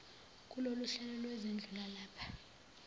kuloluhlelo lwezindlu lwalapha